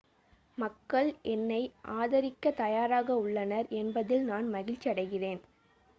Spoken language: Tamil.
மக்கள் என்னை ஆதரிக்க தயாராக உள்ளனர் என்பதில் நான் மகிழ்ச்சியடைகிறேன்